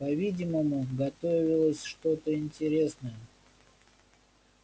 по-видимому готовилось что-то интересное